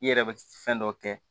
I yɛrɛ bɛ fɛn dɔ kɛ